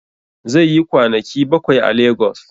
Zai yi kwanaki bakwai a legos